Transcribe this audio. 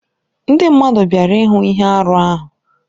Ndị mmadụ bịara ịhụ ihe arụ ahụ.